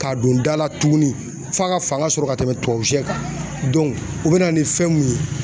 K'a don da la tuguni f'a ka fanga sɔrɔ ka tɛmɛ tubabu sɛ kan u bɛ na ni fɛn mun ye